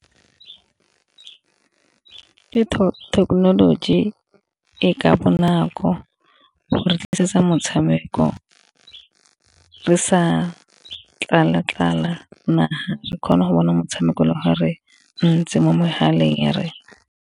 Thekenoloji e ka bonako re tlisetsa motshameko re sa tlala tlala naga re kgona go bona motshameko le ga re ntse mo megaleng ya rena.